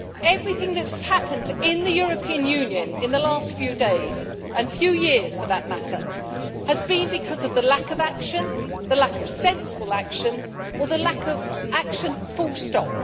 Everything that has happened in the European Union in the last few days and last few years for that matter has been because of lack of action the lack of sensible action, or the lack of action full stop.